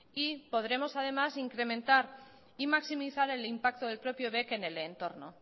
y podremos además incrementar y maximizar el impacto del propio bec en el entorno